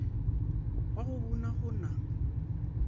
wa go buna go na